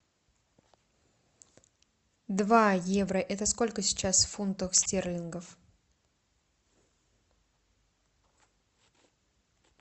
два евро это сколько сейчас в фунтах стерлингов